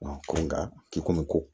Ko nga k'i komi